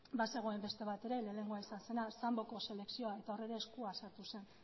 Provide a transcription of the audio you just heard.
bazegoen beste bat ere lehenengoa izan zena samboko selekzioa eta hor ere eskua sartu zen